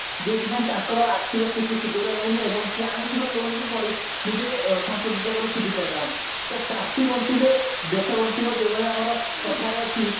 ଯୋଉଥି ପାଇଁ ତାଙ୍କର ଆର୍ଥିକ ସ୍ଥିତି ସୁଦୃଢ ହେଉନି ଏବଂ ସେ ଆଣିଥିବା loan ପରି ନିଜେ ସଂଶୋଧିତ କରି ସୁଝି ପାରୁ ନାହାନ୍ତି ତ ଚାଷୀ ବଞ୍ଚିଲେ ଦେଶ ବଞ୍ଚିବ ଯୋଉ ଭଳି ଆମର କଥାରେ ଅଛି